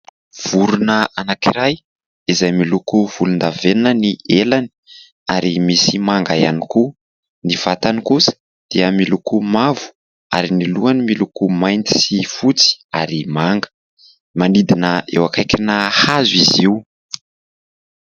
Vorona anankiray izay miloko volondavenona ny helany ary misy manga ihany koa, ny vatany kosa dia miloko mavo ary ny lohany miloko mainty sy fotsy ary manga. Manidina eo akaikina hazo izy io.